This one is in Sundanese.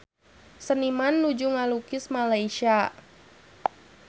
Seniman nuju ngalukis Malaysia